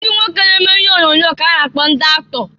Ndị nwoke na-eme ihe onyoonyo ka-a na-akpọ ndị aktọ.